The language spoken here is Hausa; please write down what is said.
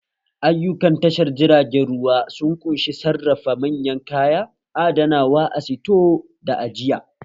Ayukan tashar jiragen ruwa sun ƙunshi sarrafa manyan kaya, adanawa a sito da ajiya